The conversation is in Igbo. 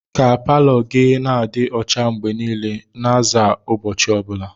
Ka palọ gị na-adị ọcha mgbe niile, na-aza ụbọchị ọ bụla.